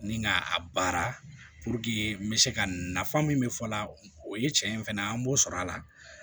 Ni ka a baara n bɛ se ka nafa min fɔ la o ye cɛn ye fɛnɛ an b'o sɔrɔ a la